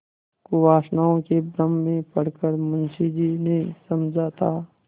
कुवासनाओं के भ्रम में पड़ कर मुंशी जी ने समझा था